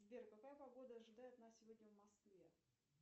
сбер какая погода ожидает нас сегодня в москве